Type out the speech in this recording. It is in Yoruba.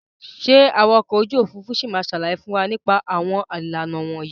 Ṣé awakọ̀ ojú òfuurufú ṣì ma sàlàyé fún wa nípa àwọn ìlànà wọ̀nyí?